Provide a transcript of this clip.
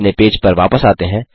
अपने पेज पर वापस आते हैं